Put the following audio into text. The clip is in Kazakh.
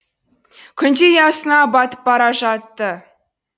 күн де ұясына батып бара жатты